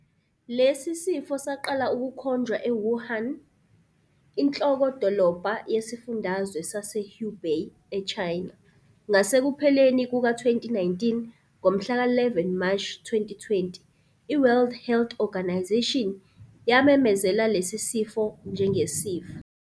Lesi sifo saqala ukukhonjwa eWuhan, inhloko-dolobha yesifundazwe saseHubei eChina, ngasekupheleni kuka-2019. Ngomhlaka 11 Mashi 2020, i-World Health Organisation yamemezela lesi sifo njengesifo.